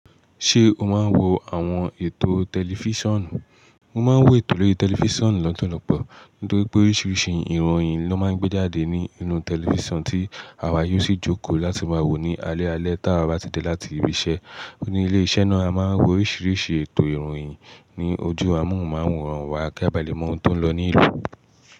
Ṣé o máa ń wo àwọn ètò tẹlifísiọ̀nù? Mo máa ń wo ètò lórítẹlifísiọ̀nù lọ́pọ̀lọ́pọ̀. Nítorí pé oríṣiríṣi ìròyìn ló máa ń gbé jáde ní inú tẹlifísiọ̀nù tí àwa yóò sì jókòó láti máa wò ó ní alẹ́ alẹ́ tí àwa bá ti dé láti ibi iṣẹ́. Ní ilé iṣẹ́ náà, a máa ń wo oríṣiríṣi ètò ìròyìn. Ni ojú amóhùnmáwòrán wa, kí a ba lè mọ ohun tó ń lọ ní ìlú.